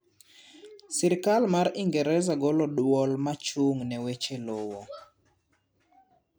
sirkal mar ingereza golo duol machung' ne weche lowo